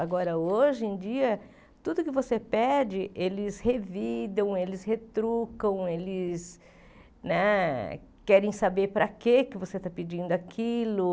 Agora, hoje em dia, tudo que você pede, eles revidam, eles retrucam, eles né querem saber para que você está pedindo aquilo.